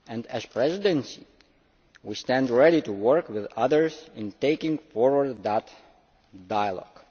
As the Presidency, we stand ready to work with others in taking forward that dialogue.